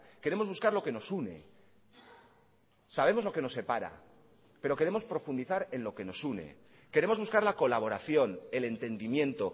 queremos buscar lo que nos une sabemos lo que nos separa pero queremos profundizar en lo que nos une queremos buscar la colaboración el entendimiento